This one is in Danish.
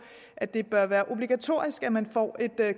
at det bør være obligatorisk at man får et